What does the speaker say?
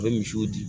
A bɛ misiw di